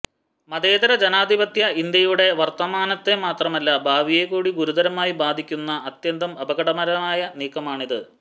മതേതര ജനാധിപത്യ ഇന്ത്യയുടെ വര്ത്തമാനത്തെ മാത്രമല്ല ഭാവിയെക്കൂടി ഗുരുതരമായി ബാധിക്കുന്ന അത്യന്തം അപകടകരമായ നീക്കമാണിത്